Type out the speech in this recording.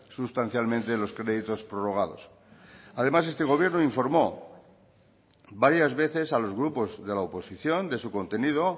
sustancialmente los créditos prorrogados además este gobierno informó varias veces a los grupos de la oposición de su contenido